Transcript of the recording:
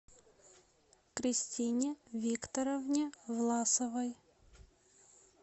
кристине викторовне власовой